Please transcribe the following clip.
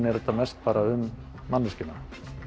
er þetta mest um manneskjuna